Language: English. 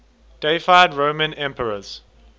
deified roman emperors